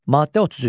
Maddə 33.